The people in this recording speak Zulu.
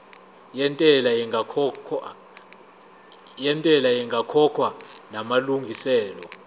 yentela ingakakhokhwa namalungiselo